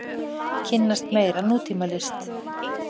Kynnast meira nútímalist.